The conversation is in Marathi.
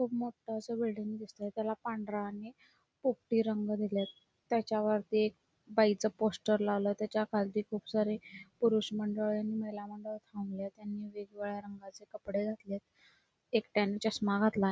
एक मोठी अस बिल्डिंग दिसते त्याला पांढरा आणि पोपटी रंग दिलेत त्याच्या वरती एक बाई च पोस्टर लावलेत त्याच्या खालती खुप सारी पुरुष मंडळ आणि पहिला मंडळ थांबलेत त्यांनी वेगवेळ्या रंगाचे कपडे घातलेत एकट्याने चश्मा घातलाय.